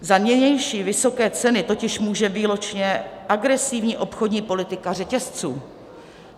Za nynější vysoké ceny totiž může výlučně agresivní obchodní politika řetězců.